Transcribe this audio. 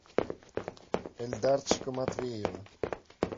эльдарчика матвеева